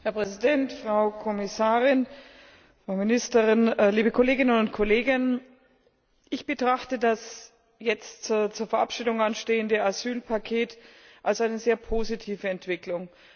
Herr Präsident, Frau Kommissarin, Frau Ministerin, liebe Kolleginnen und Kollegen! Ich betrachte das jetzt zur Verabschiedung anstehende Asylpaket als eine sehr positive Entwicklung.